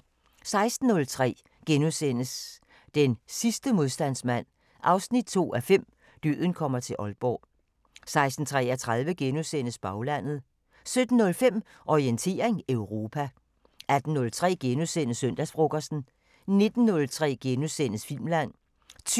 16:03: Den sidste modstandsmand 2:5 – Døden kommer til Aalborg * 16:33: Baglandet * 17:05: Orientering Europa 18:03: Søndagsfrokosten * 19:03: Filmland *